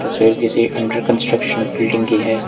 Picture किसी under construction building की है।